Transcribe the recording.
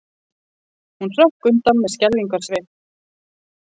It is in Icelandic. Hún hrökk undan með skelfingarsvip.